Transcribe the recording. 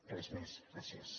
res més gràcies